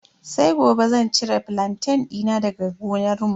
Sai gobe zan cire flantain dina daga gonarmu.